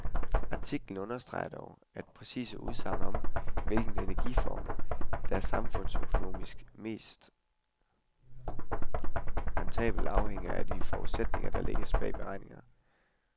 Artiklen understreger dog, at præcise udsagn om, hvilken energiform der er samfundsøkonomisk mest rentabel, afhænger af de forudsætninger, der lægges bag beregningerne.